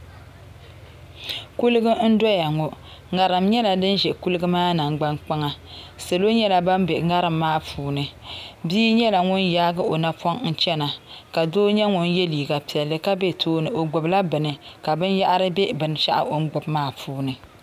Kuliga n dɔya ŋɔ ŋariŋ nyɛla din ʒɛ kuliga maa nangbaŋ kpaŋa salo nyɛla ban be ŋariŋ maa puuni bia nyɛla ŋun yaai o napɔŋ n chana ka doo nyɛ ŋun yɛ liiniga piɛlli ka be tooni o gbubila bini ka binyɛhiri be binshɛɣu o ni gbubi maa puuni.